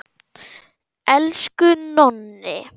Elsku Nonni.